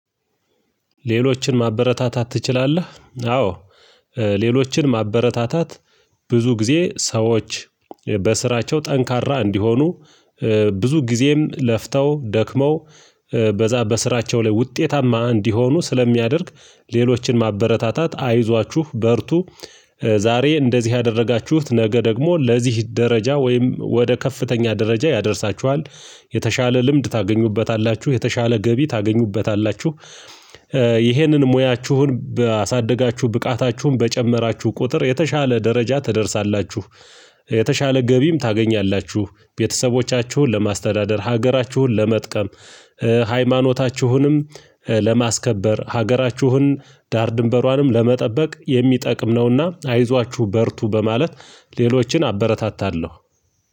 ሌሎችን ማበረታታት ትችላለህ? አዎ ሌሎችን ማበረታታት ብዙ ጊዜ ሰዎች በስራቸው ጠንካራ እንዲሆኑ ብዙ ጊዜም ለፍተው ደክመው በዛ በስራቸው ላይ ውጤታማ እንዲሆኑ ስለሚያደርግ። ሌሎችን ማበረታታት አይዟችሁ በርቱ። ዛሬ እንደዚህ ያደረጋችሁት ነገ ደግሞ ለዚህ ደረጃ ወይም ወደ ከፍተኛ ደረጃ ያደርሳችኋል የተሻለ ልምድ ታገኙበታላችሁ የተሻለ ገቢ ታገኙበታላችሁ። ይሄንን ሙያችሁን ባሳደጋችሁ ብቃታችሁን በጨመራችሁ ቁጥር የተሻለ ደረጃ ትደርሳላችሁ የተሻለ ገቢም ታገኛላችሁ። ቤተሰቦቻችሁን ለማስተዳደር ሀገራችሁን ለመጥቀም ሃይማኖታችሁንም ለማስከበር ሀገራችሁን ዳር ድንበሯንም ለመጠበቅ የሚጠቅም ነውና። አይዟችሁ በርቱ በማለት ሌሎችን አበረታታለሁ።